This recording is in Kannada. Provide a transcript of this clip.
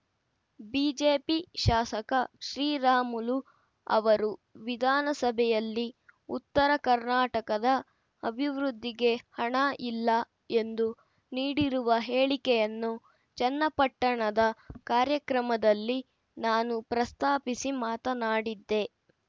ಬಿಜೆಪಿ ಶಾಸಕ ಶ್ರೀರಾಮುಲು ಅವರು ವಿಧಾನಸಭೆಯಲ್ಲಿ ಉತ್ತರ ಕರ್ನಾಟಕದ ಅಭಿವೃದ್ಧಿಗೆ ಹಣ ಇಲ್ಲ ಎಂದು ನೀಡಿರುವ ಹೇಳಿಕೆಯನ್ನು ಚನ್ನಪಟ್ಟಣದ ಕಾರ್ಯಕ್ರಮದಲ್ಲಿ ನಾನು ಪ್ರಸ್ತಾಪಿಸಿ ಮಾತನಾಡಿದ್ದೆ